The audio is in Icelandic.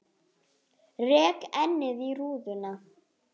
Rek ennið í rúðuna.